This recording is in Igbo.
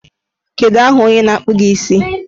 Kedu aha onye na-akpụ gị isi?